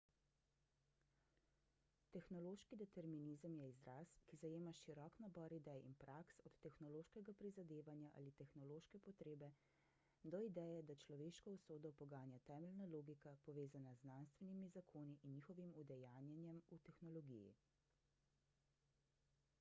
tehnološki determinizem je izraz ki zajema širok nabor idej in praks od tehnološkega prizadevanja ali tehnološke potrebe do ideje da človeško usodo poganja temeljna logika povezana z znanstvenimi zakoni in njihovim udejanjenjem v tehnologiji